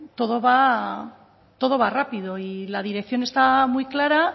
todo va rápido y la dirección está muy clara